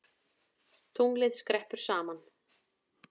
Tunglið skreppur saman